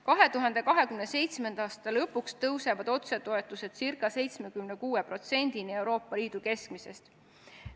2027. aasta lõpuks tõusevad otsetoetused ca 76%-ni Euroopa Liidu keskmisest.